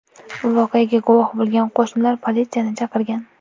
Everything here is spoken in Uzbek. Voqeaga guvoh bo‘lgan qo‘shnilar politsiyani chaqirgan.